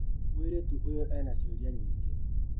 Mũirĩtu ũyũ ena ciũria nyingĩ